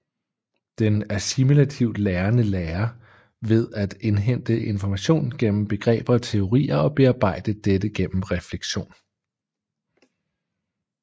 Den assimilativt lærende lærer ved at indhente information gennem begreber og teorier og bearbejde dette gennem refleksion